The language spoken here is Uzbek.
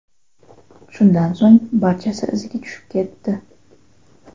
Shundan so‘ng barchasi iziga tushib ketdi.